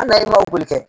Hali n'a ye boli kɛ